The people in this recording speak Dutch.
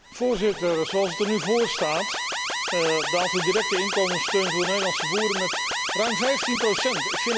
Voorzitter, zoals het er nu voor staat, daalt de directe inkomenssteun voor de Nederlandse boeren met ruim vijftien procent.